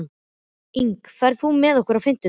Ingi, ferð þú með okkur á fimmtudaginn?